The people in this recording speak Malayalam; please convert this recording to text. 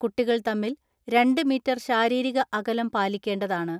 കുട്ടികൾ തമ്മിൽ രണ്ട് മീറ്റർ ശാരീരിക അകലം പാലിക്കേണ്ടതാണ്.